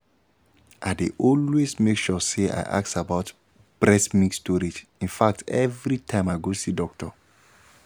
i dey always make sure say i ask about breast milk storage in fact every time i go see doctor